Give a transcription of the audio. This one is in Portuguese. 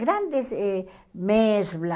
Grandes eh Mesbla,